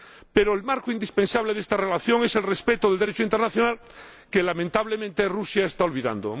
Pero el marco indispensable de esta relación es el respeto del Derecho internacional, que, lamentablemente, Rusia está olvidando.